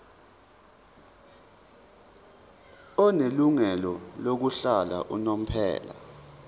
onelungelo lokuhlala unomphela